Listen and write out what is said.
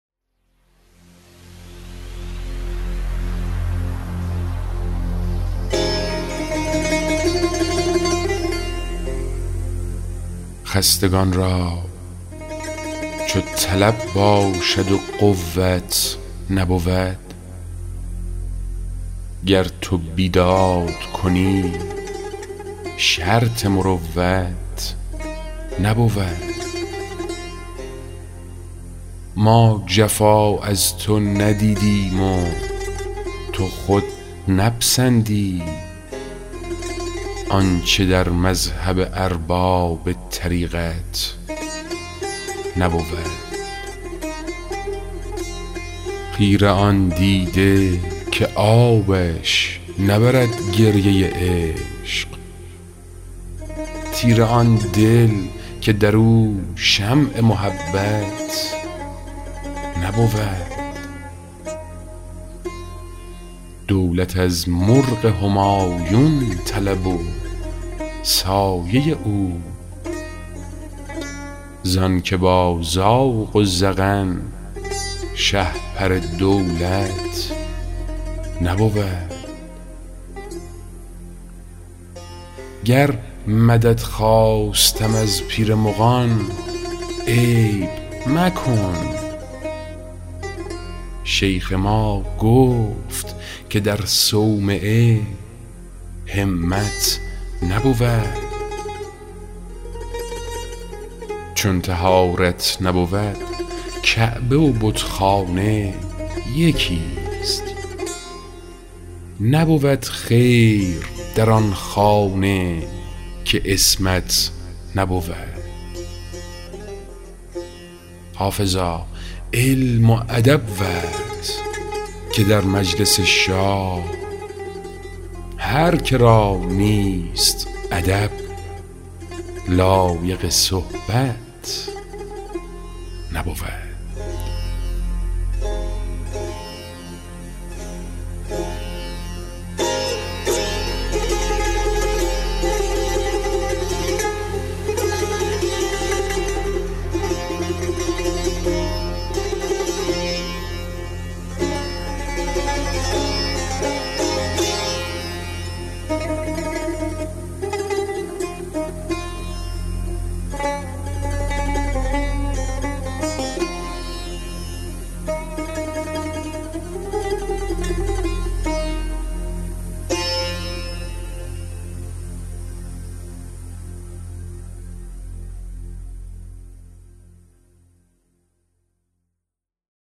خستگان را چو طلب باشد و قوت نبود گر تو بیداد کنی شرط مروت نبود ما جفا از تو ندیدیم و تو خود نپسندی آنچه در مذهب ارباب طریقت نبود خیره آن دیده که آبش نبرد گریه عشق تیره آن دل که در او شمع محبت نبود دولت از مرغ همایون طلب و سایه او زان که با زاغ و زغن شهپر دولت نبود گر مدد خواستم از پیر مغان عیب مکن شیخ ما گفت که در صومعه همت نبود چون طهارت نبود کعبه و بتخانه یکیست نبود خیر در آن خانه که عصمت نبود حافظا علم و ادب ورز که در مجلس شاه هر که را نیست ادب لایق صحبت نبود